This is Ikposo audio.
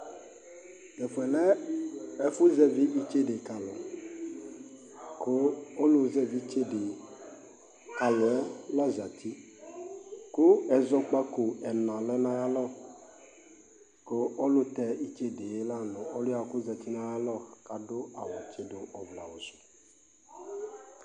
Tʋ ɛfʋ yɛ lɛ ɛfʋzɛvɩ itsede ka alʋ kʋ ɔlʋzɛvɩ itsede ka alʋ yɛ la zati kʋ ɛzɔkpako ɛna lɛ nʋ ayalɔ kʋ ɔlʋtɛ itsede yɛ la nʋ ɔlʋ yɛ kʋ ɔzati nʋ ayalɔ kʋ adʋ awʋtsɩdʋ ɔvlɛawʋ sʋ